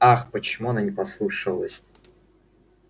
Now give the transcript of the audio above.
ах почему она не послушалась